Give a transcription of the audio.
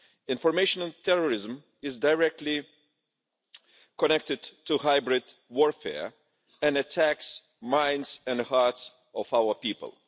Informational terrorism is directly connected to hybrid warfare and attacks the minds and hearts of our people.